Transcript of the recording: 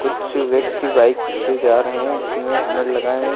कुछ व्यक्ति बाइक से जा रहे हैं जिसमें हेलमेट लगाए हैं।